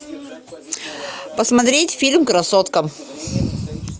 посмотреть фильм красотка